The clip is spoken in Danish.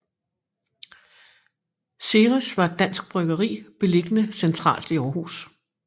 Ceres var et dansk bryggeri beliggende centralt i Aarhus